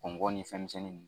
Ŋɔngɔn nin fɛnmisɛnninw